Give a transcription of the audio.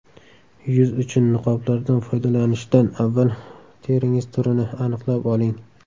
Yuz uchun niqoblardan foydalanishdan avval teringiz turini aniqlab oling.